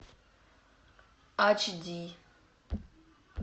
ач ди